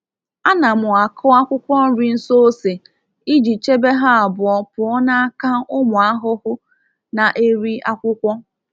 A na m akụ akwụkwọ nri nso ose iji chebe ha abụọ pụọ n’aka ụmụ ahụhụ na-eri akwụkwọ.